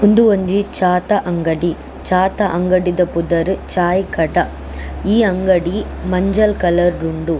ಉಂದು ಒಂಜಿ ಚಾತ ಅಂಗಡಿ ಚಾತ ಅಂಗಡಿಅ ಪುದರ್ ಚಾಯಿಕಟ ಈ ಅಂಗಡಿ ಮಂಜಲ್ ಕಲರ್ಡ್ ಉಂಡು.